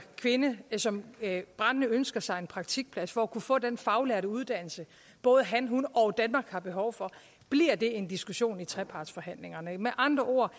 kvinde som brændende ønsker sig en praktikplads for at kunne få den faglærte uddannelse både han hun og danmark har behov for en diskussion i trepartsforhandlingerne med andre ord